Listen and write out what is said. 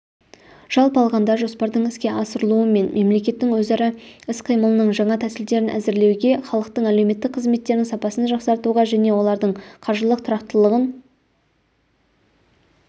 жалпы алғанда жоспардың іске асырылуы мен мемлекеттің өзара іс-қимылының жаңа тәсілдерін әзірлеуге халықтың әлеуметтік қызметтерінің сапасын жақсартуға және олардың қаржылық тұрақтылығын